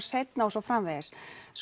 seinna og svo framvegis